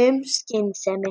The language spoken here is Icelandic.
um skynsemi.